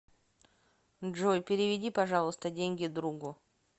джой переведи пожалуйста деньги другу